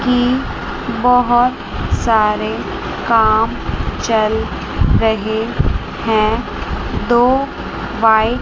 की बहोत सारे काम चल रहे हैं। दो--